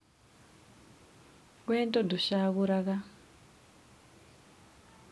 wendo ndũcagũraga